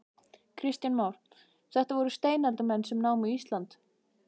Kristján Már: Þetta voru steinaldarmenn sem námu Ísland?